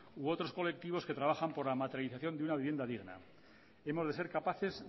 u otros colectivos que trabajan por la materialización de una vivienda digna hemos de ser capaces